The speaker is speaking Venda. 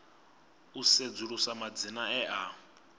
u sedzulusa madzina e a